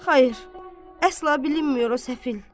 Xeyr, əsla bilinmir o səfil.